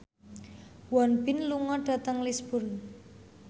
Won Bin lunga dhateng Lisburn